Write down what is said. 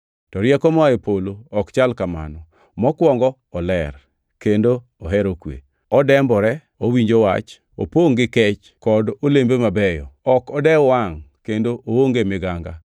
To rieko moa e polo ok chal kamano. Mokwongo oler, kendo ohero kwe, odembore, owinjo wach, opongʼ gi kech kod olembe mabeyo, ok odew wangʼ, kendo oonge miganga.